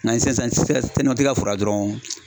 N'an ye sisan sisan foro la dɔrɔnw